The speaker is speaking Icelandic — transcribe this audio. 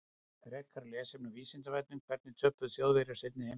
Frekara lesefni á Vísindavefnum: Hvernig töpuðu Þjóðverjar seinni heimsstyrjöldinni?